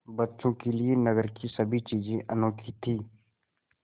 बच्चों के लिए नगर की सभी चीज़ें अनोखी थीं